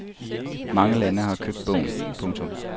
Mange lande har købt bogen. punktum